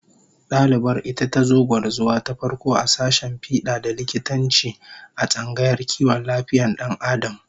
Dalibar ita tazo gwarzuwa ta farko a sashen fida da likitanci, a tsangayar kiwon lafiyar Dan Adam